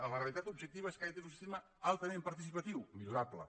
la realitat objectiva és que aquest és un sistema altament participatiu millorable